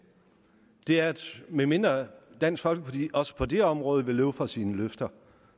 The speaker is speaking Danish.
er at medmindre dansk folkeparti også på det område vil løbe fra sine løfter